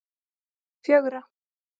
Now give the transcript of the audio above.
fjögra